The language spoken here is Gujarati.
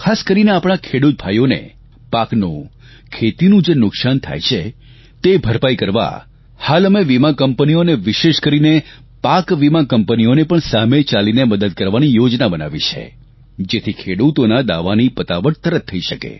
ખાસ કરીને આપણા ખેડૂત ભાઇઓને પાકનું ખેતીનું જે નુકસાન થાય છે તે ભરપાઇ કરવા હાલ અમે વીમાકંપનીઓ અને વિશેષ કરીને પાક વીમા કંપનીઓને પણ સામે ચાલીને મદદ કરવાની યોજના બનાવી છે જેથી ખેડૂતોના દાવાની પતાવટ તરત થઇ શકે